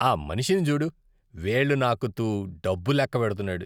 ఆ మనిషిని చూడు. వేళ్లు నాకుతూ డబ్బు లెక్కపెడుతున్నాడు.